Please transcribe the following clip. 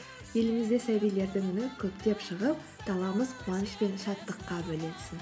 елімізде сәбилердің үні көптеп шығып қуаныш пен шаттыққа бөленсін